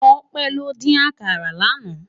Tope ló din àkàrá làná